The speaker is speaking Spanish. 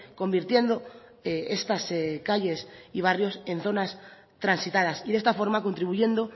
convirtiendo estas calles y barrios en zonas transitadas y de esta forma contribuyendo